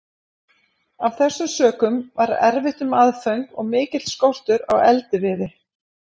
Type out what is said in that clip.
Af þessum sökum var erfitt um aðföng og mikill skortur á eldiviði.